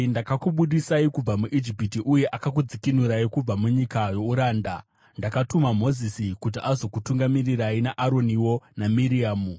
Ndakakubudisai kubva muIjipiti uye akakudzikinurai kubva munyika youranda. Ndakatuma Mozisi kuti azokutungamirirai, naAroniwo naMiriamu.